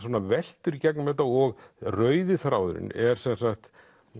veltur í gegnum þetta og rauði þráðurinn er sem sagt